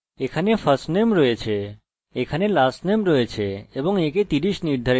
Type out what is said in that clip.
আমাদের কাছে lastname আছে এবং আমি আবার একে 30 নির্ধারিত করব